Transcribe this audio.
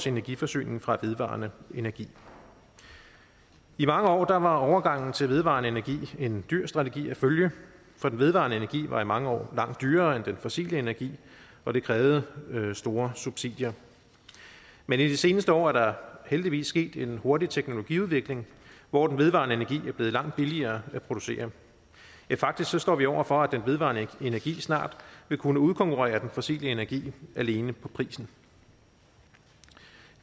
energiforsyning fra vedvarende energi i mange år var overgangen til vedvarende energi en dyr strategi at følge for den vedvarende energi var i mange år langt dyrere end den fossile energi og det krævede store subsidier men i de seneste år er der heldigvis sket en hurtig teknologiudvikling hvor den vedvarende energi er blevet langt billigere at producere faktisk står vi over for at den vedvarende energi snart vil kunne udkonkurrere den fossile energi alene på prisen